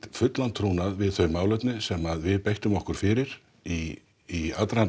fullan trúnað við þau málefni sem við beittum okkur fyrir í aðdraganda